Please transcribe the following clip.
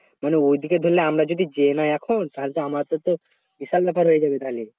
মানে ওই দিকে ধরলে আমরা যদি যায় না এখন তাহলে তো আমাদের তো তাহলে বিশাল আকারে হয়ে যাবে তাহলে